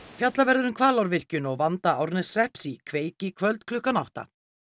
fjallað verður um Hvalárvirkjun og vanda Árneshrepps í kveik í kvöld klukkan átta